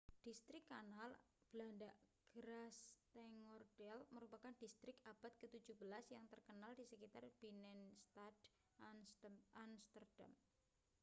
distrik kanal belanda: grachtengordel merupakan distrik abad ke-17 yang terkenal di sekitar binnenstad amsterdam